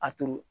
A turu